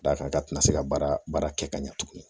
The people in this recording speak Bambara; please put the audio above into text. Da kan ka tɛna se ka baara baara kɛ ka ɲɛ tugun